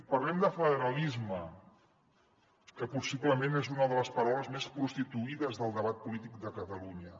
parlem de federalisme que possiblement és una de les paraules més prostituïdes del debat polític de catalunya